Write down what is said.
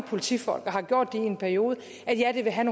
politifolk og har gjort det i en periode at ja det vil have